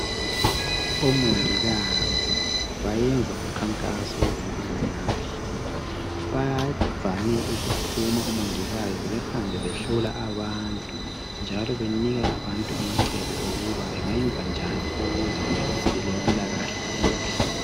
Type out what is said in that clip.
OMongikazi bayenza umkhankaso wezempilakahle, vavame ukuphuma omongikazi bahambe behlola abantu njalo bahambe benika abantu amacebo okuba bengayenzanjani ukuze bebelempilakahle enhle.